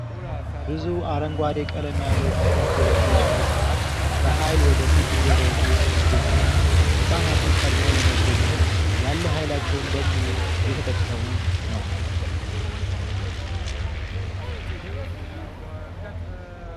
ብዙ አረንጓዴ ቀለም ያለው ቲሸርት የለበሱ ህጻናት በሃይል ወደ ፊት እየሮጡ ይገኛሉ። ህጻናቱ ቀድመው ለመገኘት ያለ ሃይላቸውን በሙሉ እየተጠቀሙ ነው።